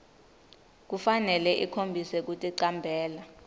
kufanele ikhombise kuticambela